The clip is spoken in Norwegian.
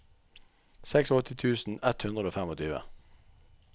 åttiseks tusen ett hundre og tjuefem